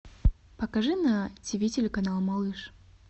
покажи на тиви телеканал малыш